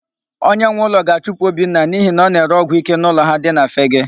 Onyenweụlọ ga-achụpụ Obinna n'ihi na ọ na-ere ọgwụike n'ụlọ ha dị na Fegee.